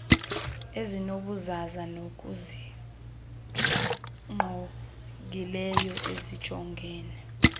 ezinobuzaza zokusingqongileyo esijongene